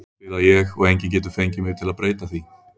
Svona spila ég og enginn getur fengið mig til að breyta því.